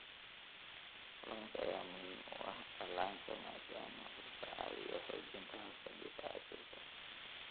Kalluunka ayaa muhiim u ah dhallaanka maadaama uu ka caawiyo xoojinta habka difaaca jirka.